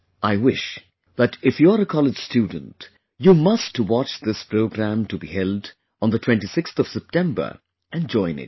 I wish that if you are a college student, you must watch this program to be held on the 26th September and join it